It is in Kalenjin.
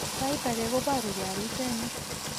Sait age koboruu gee alisenik